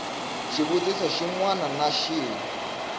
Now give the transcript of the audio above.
xivutiso xin wana na xin